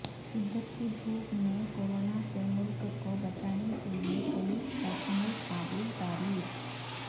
شدت کی دھوپ میں کوروناسے ملک کوبچانے کےلئے پولس کاعمل قابل تعریف